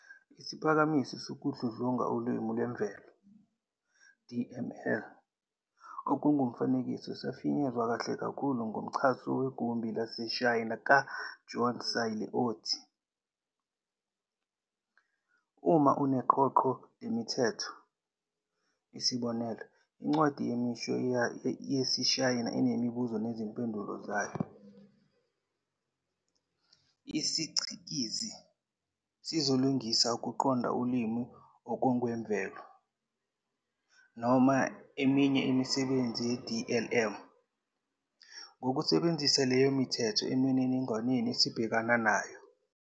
Isiphakamiso sokudludlunga ulimi lwemvelo, DML, okungokomfanekiso safinyezwa kahle kakhulu ngumgcanso wegumbi laseSahyina ka-John Searle othi, Uma uneqoqo lemithetho, isb. incwadi yemisho yesiShayina, enemibuzo nezimpendulo zayo, isicikizi sizolingisa ukuqonda ulimi okongokwemvelo, noma eminye imisebenzi ye-DLM, ngokusebenzisa leyo mithetho eminininingweni esibhekana nayo.